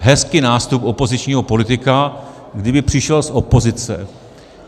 Hezký nástup opozičního politika - kdyby přišel z opozice.